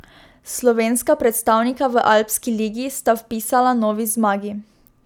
Slovenska predstavnika v Alpski ligi sta vpisala novi zmagi.